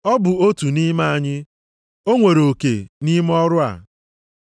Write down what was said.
Ọ bụ otu nʼime anyị. O nwere oke nʼime ọrụ a.”